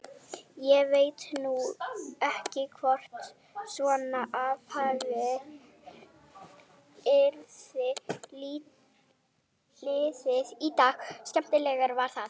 Ég veit nú ekki hvort svona athæfi yrði liðið í dag en skemmtilegt var það.